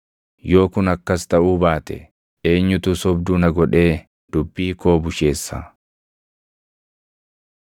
“Yoo kun akkas taʼuu baate eenyutu sobduu na godhee dubbii koo busheessa?”